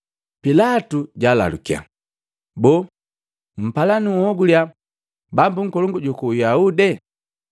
Pilatu jalalukya, “Boo, mpala nunhogulya Bambu Nkolongu juku Uyahude?”